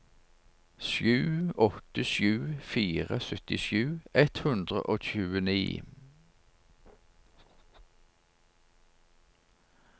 sju åtte sju fire syttisju ett hundre og tjueni